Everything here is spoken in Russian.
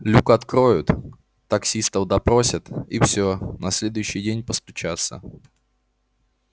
люк откроют таксистов допросят и всё на следующий день постучатся